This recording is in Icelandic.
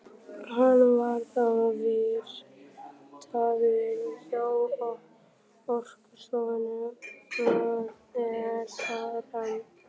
Hann var þá vistaður hjá Orkustofnun og er þar enn.